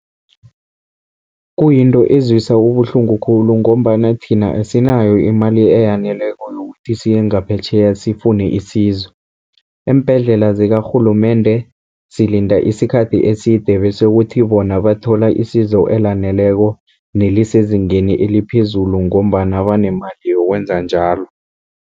Kuyinto ezwisa ubuhlungu khulu, ngombana thina asinayo imali eyaneleko yokuthi siye ngaphetjheya sifune isizo. Eembhedlela zikarhulumende silinda isikhathi eside, bese kuthi bona bathola isizo elaneleko nelisezingeni eliphezulu, ngombana banemali yokwenza njalo.